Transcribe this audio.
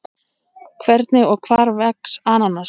Hvernig og hvar vex ananas?